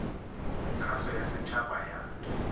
kgaso ya set haba ya